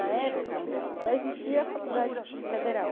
Na época, só existia a Faculdade Federal.